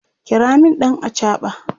kira min ɗan achaɓa!